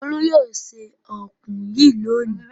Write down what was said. Olú yóò se ọ̀kùn yìí lónìí!